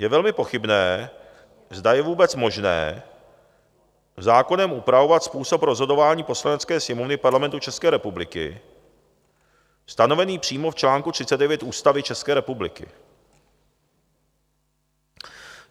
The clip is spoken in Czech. Je velmi pochybné, zda je vůbec možné zákonem upravovat způsob rozhodování Poslanecké sněmovny Parlamentu České republiky stanovený přímo v článku 39 Ústavy České republiky.